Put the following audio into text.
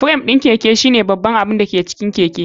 Fram ɗin Keke shine babban abin da ke cikin keke.